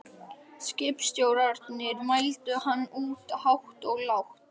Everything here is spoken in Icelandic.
Skipstjórarnir mældu hann út hátt og lágt.